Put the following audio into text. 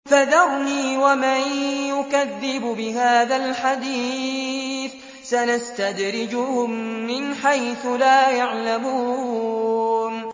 فَذَرْنِي وَمَن يُكَذِّبُ بِهَٰذَا الْحَدِيثِ ۖ سَنَسْتَدْرِجُهُم مِّنْ حَيْثُ لَا يَعْلَمُونَ